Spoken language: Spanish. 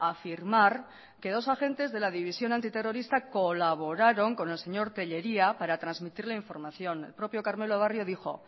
afirmar que dos agentes de la división antiterrorista colaboraron con el señor tellería para transmitirle información el propio karmelo barrio dijo